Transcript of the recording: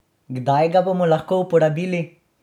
Kdaj ga bomo lahko uporabili?